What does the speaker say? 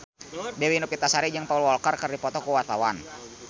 Dewi Novitasari jeung Paul Walker keur dipoto ku wartawan